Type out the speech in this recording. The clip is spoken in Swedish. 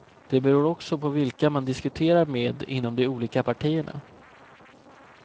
Det beror också på vilka man diskuterar med inom de olika partierna.